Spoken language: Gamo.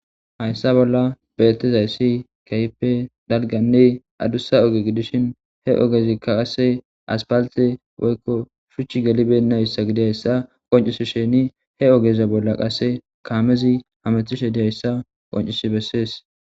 Hayssa bolla beetizayssi keype Hays dalganne adussa oge gidishin he ogezikka qase aspalte woykko shuchchi gelibenna hissa gidihayssa qoncisi sheni he ogeze bolla qasse kaamezi hamethishe dihayssa qoncisi bessees.